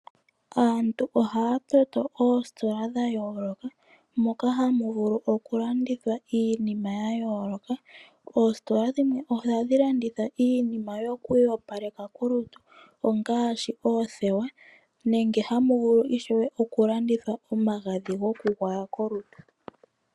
Aantu ohaya tameke oositola dha yooloka, moka hamu vulu oku landithwa iinima ya yooloka. Oositola dhimwe ohadhi landitha iinima yoku iyopaleka kolutu ongaashi oothewa, nenge hamu vulu ishewe oku landithwa omagadhi goku gwaya kolutu.